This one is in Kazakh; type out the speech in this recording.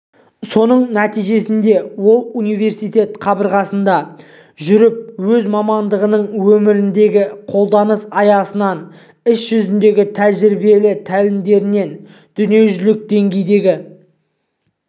соның нәтижесінде ол университет қабырғасында жүріп өз мамандығының өмірдегі қолданыс аясынан іс жүзіндегі тәжірибелі тәлімдерінен дүниежүзілік деңгейдегі